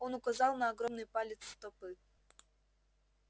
он указал на огромный палец стопы